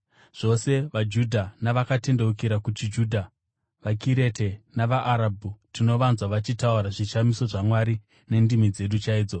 (zvose vaJudha navakatendeukira kuchiJudha); vaKirete navaArabhu, tinovanzwa vachitaura zvishamiso zvaMwari nendimi dzedu chaidzo!”